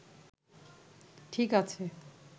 ঠিক আছে